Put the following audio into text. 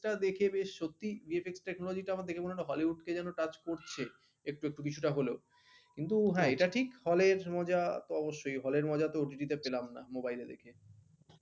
সেটা দেখে বেশ সত্যি VFXtechnology টা দেখে মনে হল hollywood কে যেন touch করছে একটু একটু কিছুটা হলেও কিন্তু এটা ঠিক hall এর মজা অবশ্যই hall এর মজা তো OTT তে তো পেলাম না mobile এ দেখে।